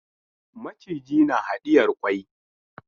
Maciji na hadiyar kwai.